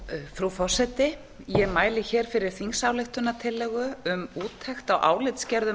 frú forseti ég mæli hér fyrir þingsályktunartillögu um úttekt á álitsgerðum